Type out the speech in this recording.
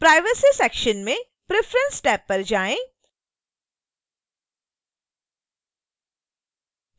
privacy section में preference tab पर जाएँ